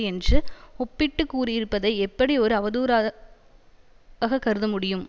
என்று ஒப்பிட்டு கூறியிருப்பதை எப்படி ஒரு அவதூறாக கருதமுடியும்